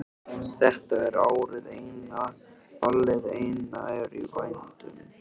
Þetta er árið eina, ballið eina er í vændum.